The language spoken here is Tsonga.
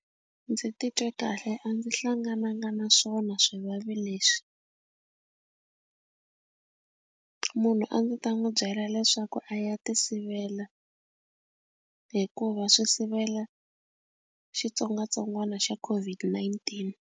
Ndzi titwe kahle a ndzi hlangananga na swona swivavi leswi munhu a ndzi ta n'wu byela leswaku a ya ti sivela hikuva swi sivela xitsongwatsongwana xa COVID-19.